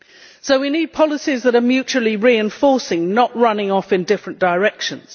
So we need policies that are mutually reinforcing, not running off in different directions.